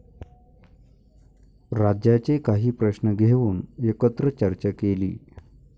राज्याचे काही प्रश्न घेऊन एकत्र चर्चा केली.